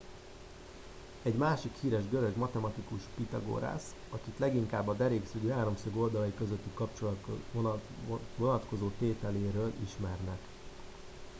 egy másik híres görög a matematikus pitagórasz akit leginkább a derékszögű háromszög oldalai közötti kapcsolatra vonatkozó tételéről ismernek